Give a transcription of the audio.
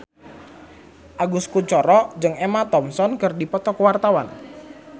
Agus Kuncoro jeung Emma Thompson keur dipoto ku wartawan